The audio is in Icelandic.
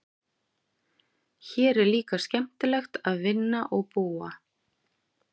Hér er líka skemmtilegt að vinna og búa.